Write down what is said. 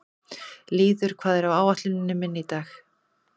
Lýður, hvað er á áætluninni minni í dag?